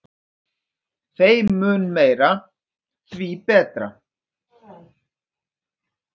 Þeim mun meira, því betra.